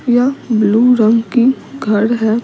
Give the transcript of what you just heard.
यह ब्लू रंग की घर है।